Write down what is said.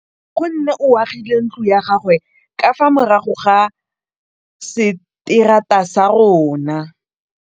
Nkgonne o agile ntlo ya gagwe ka fa morago ga seterata sa rona.